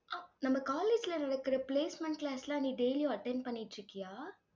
நம்ம college ல நடக்கிற placement class லாம் நீ daily யும் attend பண்ணிட்டிருக்கியா?